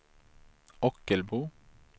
Ockelbo